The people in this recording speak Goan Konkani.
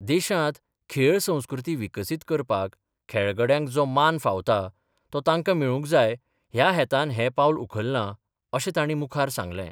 देशात खेळ संस्कृती विकसीत करपाक खेळगड्यांक जो मान फावता तो तांकां मेळूक जाय या हेतान हें पावल उखलला अशें ताणी मुखार सांगलें.